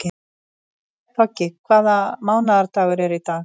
Toggi, hvaða mánaðardagur er í dag?